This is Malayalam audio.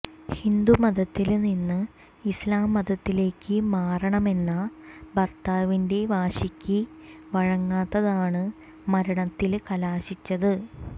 ഹിന്ദുമതത്തില് നിന്ന് ഇസ്ലാം മതത്തിലേക്ക് മാറണമെന്ന ഭര്ത്താവിന്റെ വാശിക്ക് വഴങ്ങാത്തതാണ് മരണത്തില് കലാശിച്ചത്